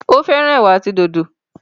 o féràn ewa àti dòdo.